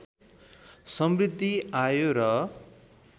समृद्धि आयो र